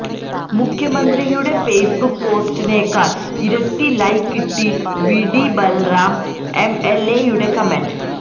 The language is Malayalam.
മുഖ്യമന്ത്രിയുടെ ഫെയ്സ്ബുക് പോസ്റ്റിനെക്കാള് ഇരട്ടി ലൈക്ക് കിട്ടി വിടി ബലറാം എംഎല്എയുടെ കമന്റ്